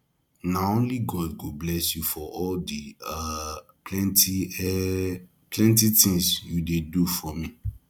na only god go bless you for all di um plenty um plenty tins you dey do for me